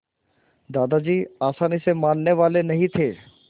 दादाजी आसानी से मानने वाले नहीं थे